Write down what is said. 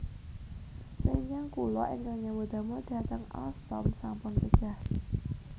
Rencang kula ingkang nyambut damel dateng Alstom sampun pejah